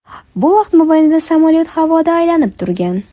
Bu vaqt mobaynida samolyot havoda aylanib turgan.